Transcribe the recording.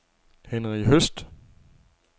Henri Høst